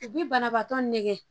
U bi banabaatɔ nɛgɛ